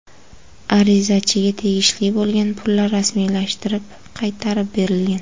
Arizachiga tegishli bo‘lgan pullar rasmiylashtirib, qaytarib berilgan.